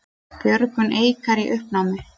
Björgun Eikar í uppnámi